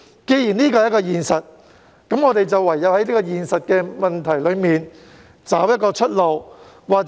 既然這是現實，我們唯有在現實中尋找出路。